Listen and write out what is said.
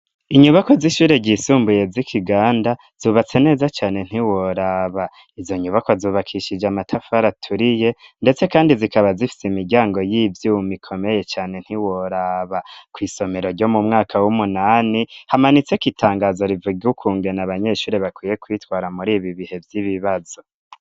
Inyubako z'ishure ryisumbuye z'ikiganda zubatse neza cyane ntiworaba, izo nyubako zubakishije matafara turiye ndetse kandi zikaba zifise imiryango y'ivy'umikomeye cyane ntiworaba ku isomero ryo mu mwaka w'umunani hamanitse ku itangazo rivug ukunge na abanyeshuri bakwiye kwitwara muri ibi bihe vy'ibibazo.